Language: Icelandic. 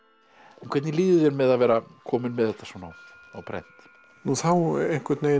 hvernig líður þér með að vera kominn með þetta svona á prent þá einhvern veginn